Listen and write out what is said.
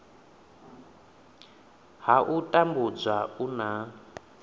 ha u tambudzwa u na